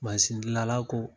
gilala ko